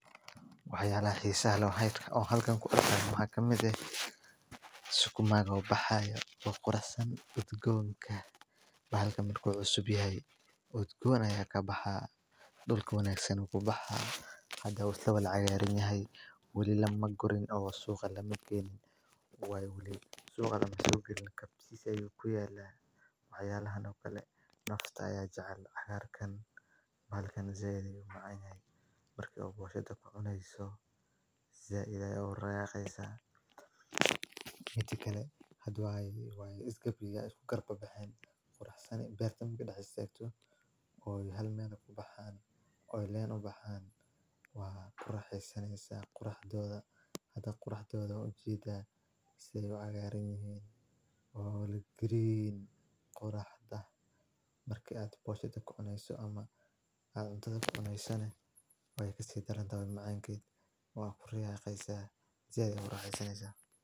Hayaan ah iyo sahalo hayd ka oo halkaan ku arkaan waa kamid ah iskumaa oo baxaya oo qoransan udgoonka. Bahalkan mid kooxo subi ah ay udgoonaya ka baxaa dhulka wanaagsan ku baxa hadda ula wada cayaarin yahay. Weli la ma gurin oo suuqa la maqayn waay heli suuqa la mato geli kab sii ayuu ku yaala Xayalahan. Okale naqshada ayay jecel cayaar kan. Mahalkan zeeyay macaahin. Markii u guusha da ku cunayso zeeyay ilaa rayaxaysa. Ka hadhi waay iskabiya ku qurbo baxeen quruxsani. Bayrtan kuna haysayto oo hal meel ku baxaan ooy leyn u baxaan? Waa qurux xisanaysa qurux dooda. Hadda qurux dooda u jiida isagoo cayaarin yahay. Green qurux dooda markii aad booshtada ku cunayso ama aad uda cuunayso way kasi daran daawo macaankii waa riyaayaysa. Ziyaadeen rayacayssa.